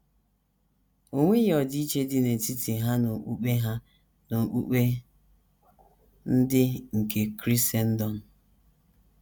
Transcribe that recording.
O nweghị ọdịiche dị n’etiti ha na okpukpe ha na okpukpe ndị nke Krisendọm.